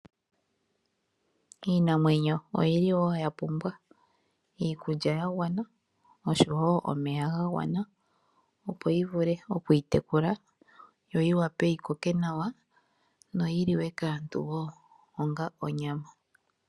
Iinamwenyo oyili wo ya pumbwa iikulya ya gwana oshowo omeya ga gwana opo yi vule oku itekula yo yi wape yi koke nawa noyi liwe kaantu wo onga onyama.